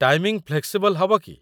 Timing flexible କି?